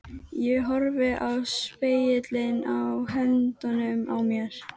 Ég horfi á spegilinn í höndunum á mér.